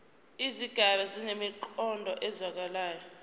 izigaba zinemiqondo ezwakalayo